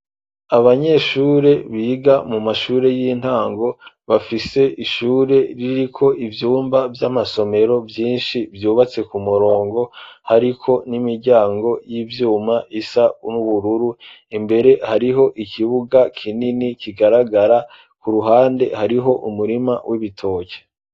Abanyeshure biga mu mashure y'intango bafise ishure ririko ivyumba vy'amasomero vyinshi vyubatse ku murongo hariko n'imiryango y'ivyuma isa n'ubururu, imbere hariho ikibuga kinini kigaragara, ku ruhande hariho umurima w'ibitoke.